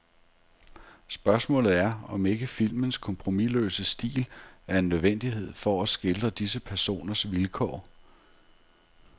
Spørgsmålet er, om ikke filmens kompromisløse stil er en nødvendighed for at skildre disse personers vilkår.